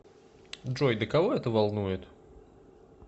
джой да кого это волнует